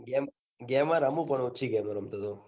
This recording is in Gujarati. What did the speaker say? ના ગેમો ગેમો રામુ પણ ઓછી ગમે રમતો તો